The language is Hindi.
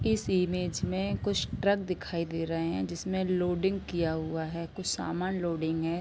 इस इमेज में कुछ ट्रक दिखाई दे रहे है जिसमे लोडिंग किया हुआ है कुछ समान लोडिंग हैं।